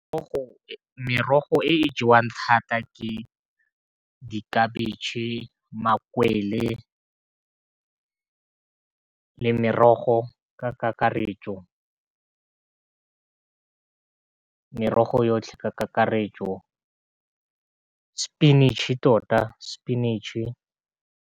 Merogo e jewang thata ke dikhabetshe, makwele, merogo ka karetso merogo yotlhe ka kakaretso sepinatšhe tota spinach.